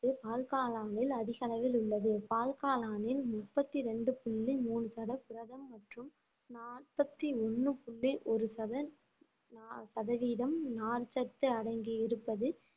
பால்காளானில் அதிக அளவில் உள்ளது பால்காளானில் முப்பத்தி ரெண்டு புள்ளி மூணு சதம் புரதம் மற்றும் நாற்பத்தி ஒண்ணு புள்ளி ஒரு சத நா~ சதவீதம் நார்ச்சத்து அடங்கி இருப்பது